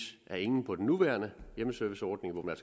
at ingen på den nuværende hjemmeserviceordning hvor man